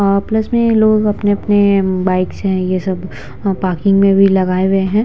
और प्लस में लोग अपने-अपने बाइक्स है ये सब वहां पार्किंग में भी लगाए हुए है।